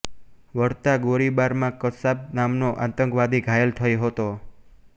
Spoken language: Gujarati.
વળતા ગોળીબારમાં કસાબ નામનો આતંકવાદી ઘાયલ થયો હતો